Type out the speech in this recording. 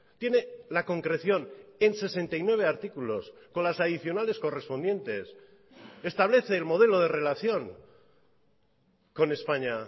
tiene la concreción en sesenta y nueve artículos con las adicionales correspondientes establece el modelo de relación con españa